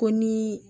Ko ni